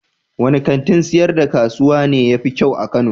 Wanne kantin sayar da kasuwa ne ya fi kyau a Kano?